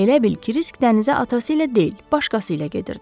Elə bil Kirsik dənizə atası ilə deyil, başqası ilə gedirdi.